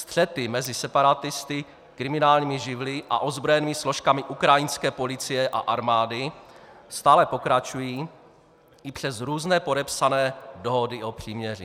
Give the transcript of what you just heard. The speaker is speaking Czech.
Střety mezi separatisty, kriminálními živly a ozbrojenými složkami ukrajinské policie a armády stále pokračují i přes různé podepsané dohody o příměří.